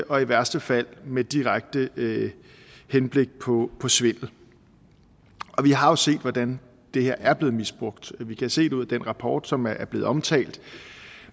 og i værste fald med direkte henblik på på svindel vi har jo set hvordan det her er blevet misbrugt vi kan se det ud af den rapport som er blevet omtalt